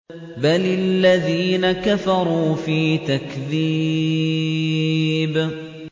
بَلِ الَّذِينَ كَفَرُوا فِي تَكْذِيبٍ